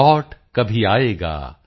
lot ਕਭੀ ਆਏਗਾ